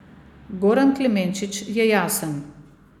Goran Klemenčič je jasen.